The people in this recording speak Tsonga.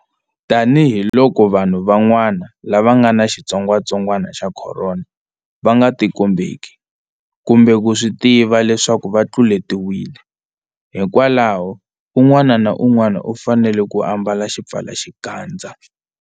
Tanihiloko vanhu van'wana lava nga ni xitsongwatsongwana xa Khorona va nga tikombeki kumbe ku swi tiva leswaku va tluletiwile, hikwalaho un'wana na un'wana u fanele ku ambala xipfalaxikandza.